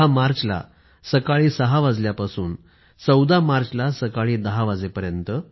१० मार्चला सकाळी ६ वाजल्यापासून १४ मार्चला सकाळी १० वाजेपर्यंत